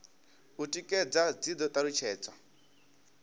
u tikedza dzi do talutshedzwa